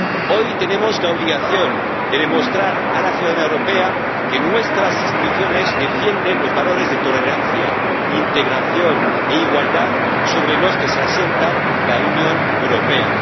Hoy tenemos la obligación de demostrar a la ciudadanía europea que nuestras instituciones defienden los valores de tolerancia, integración e igualdad sobre los que se asienta la Unión Europea.